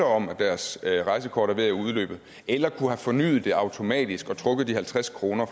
om at deres rejsekort er ved at udløbe eller kunne forny det automatisk og trække de halvtreds kroner